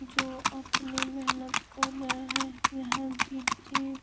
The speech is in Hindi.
जो अपने महनत कर रहें हैं यहाँ गिट्टी --